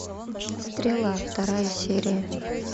стрела вторая серия